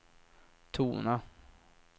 tona